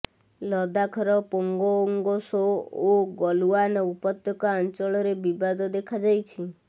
ଲଦାଖର ପୋଙ୍ଗଓଙ୍ଗ ସୋ ଓ ଗଲୱାନ ଉପତ୍ୟକା ଅଞ୍ଚଳରେ ବିବାଦ ଦେଖାଯାଇଛି